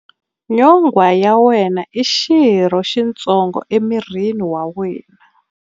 Nyonghwa ya wena i xirho xitsongo emirini wa wena.